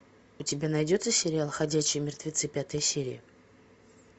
у тебя найдется сериал ходячие мертвецы пятая серия